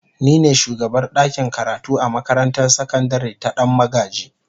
Ni ne shugabar dakin karatu a makarantar sakandare ta Dan magaji.